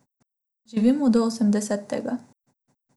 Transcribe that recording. Živimo do osemdesetega.